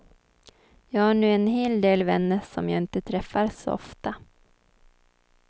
Jag har nu en hel del vänner som jag inte träffar så ofta.